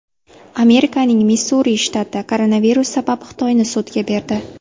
Amerikaning Missuri shtati koronavirus sabab Xitoyni sudga berdi .